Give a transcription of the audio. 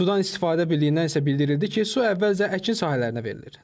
Sudan istifadə birliyindən isə bildirildi ki, su əvvəlcə əkin sahələrinə verilir.